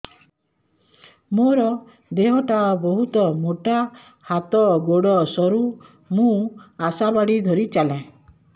ମୋର ଦେହ ଟା ବହୁତ ମୋଟା ହାତ ଗୋଡ଼ ସରୁ ମୁ ଆଶା ବାଡ଼ି ଧରି ଚାଲେ